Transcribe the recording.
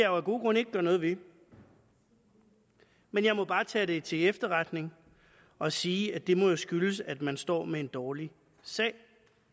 jo af gode grunde ikke gøre noget ved men jeg må bare tage det til efterretning og sige at det må skyldes at man står med en dårlig sag